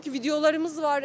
Videolarımız var.